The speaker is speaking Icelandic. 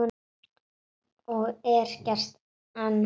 Og er gert enn.